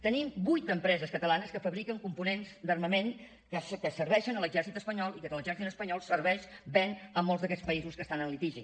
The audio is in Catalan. tenim vuit empreses catalanes que fabriquen components d’armament que serveixen a l’exèrcit espanyol i que l’exèrcit espanyol serveix ven a molts d’aquests països que estan en litigi